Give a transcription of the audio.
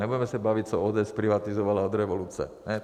Nebudeme se bavit, co ODS zprivatizovala od revoluce.